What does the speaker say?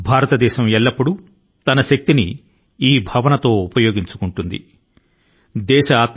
భారతదేశం ఎప్పుడూ తన శక్తి ని ఉపయోగించుకొంటుంది అదే భావన ను ప్రతిధ్వనిస్తుంది